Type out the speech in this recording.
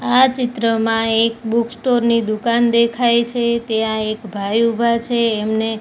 આ ચિત્રમાં એક બુક સ્ટોર ની દુકાન દેખાય છે ત્યા એક ભાઈ ઊભા છે એમને--